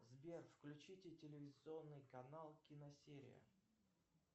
сбер включите телевизионный канал киносерия